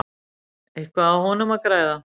Eitthvað á honum að græða?